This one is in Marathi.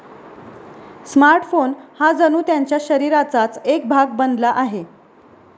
स्मार्टफोन हा जणू त्यांच्या शरीराचाच एक भाग बनला आहे.